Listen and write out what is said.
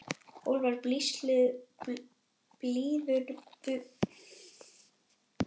Úlfar biður forláts, fullur sáttfýsi út af engu.